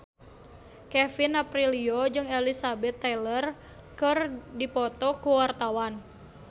Kevin Aprilio jeung Elizabeth Taylor keur dipoto ku wartawan